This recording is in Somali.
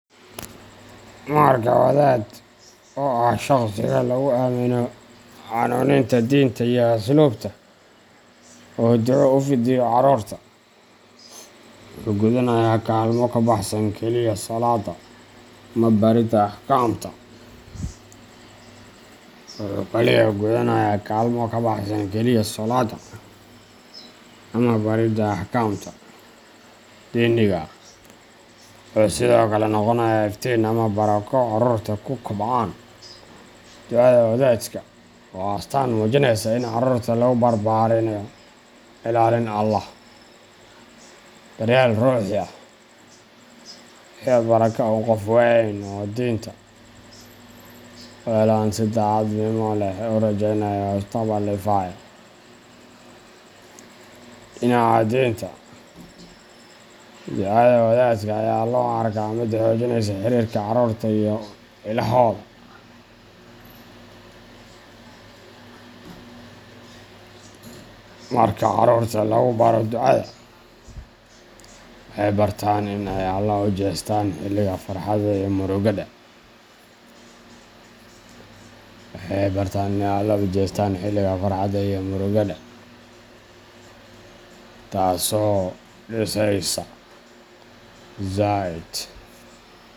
Marka wadaad oo ah shakhsiga lagu aamino hanuuninta diinta iyo asluubta uu duco u fidiyo carruurta, wuxuu gudanayaa kaalmo ka baxsan keliya salaadda ama baridda axkaamta diiniga ah; wuxuu sidoo kale noqonayaa iftiin iyo barako carruurtu ku kobcaan. Ducada wadaadku waa astaan muujinaysa in carruurta lagu barbaarinayo ilaalin Allah, daryeel ruuxi ah, iyo barako uu qof weyn oo diinta u heellan si daacadnimo leh ugu rajeynayo mustaqbal ifaya. Dhinaca diinta, ducada wadaadka ayaa loo arkaa mid xoojinaysa xiriirka carruurta iyo Ilaahooda. Marka carruurta lagu baro ducada, waxay bartaan in ay Alle u jeestaan xilliga farxadda iyo murugada, taasoo dhisaysa zaid.